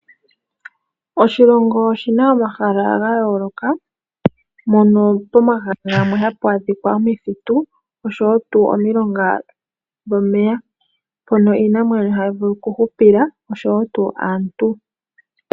Oshilongo oshina omahala ga yooloka, mono pomahala gamwe ohamu adhika omuthitu osho wo tuu omilonga dhomeya, mpoka iinamwenyo hayi vulu oku hupila osho wo aantu,